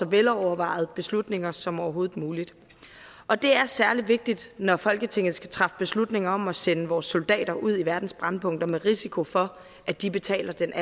velovervejede beslutninger som overhovedet muligt og det er særlig vigtigt når folketinget skal træffe beslutninger om at sende vores soldater ud i verdens brændpunkter med risiko for at de betaler den